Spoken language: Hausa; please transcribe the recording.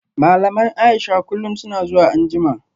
Malaman Aisha kullum suna zuwa anjima